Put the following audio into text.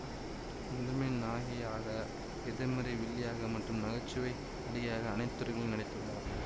முதன்மை நாயகியாக எதிர்மறை வில்லியாக மற்றும் நகைச்சுவை நடிகையாக அனைத்து துறைகளிலும் நடித்துள்ளார்